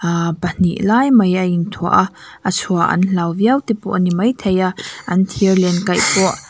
ah pahnih lai mai a inthuah a a chhuah an hlau viau te pawh ani maithei a an thirlen kaih pawh --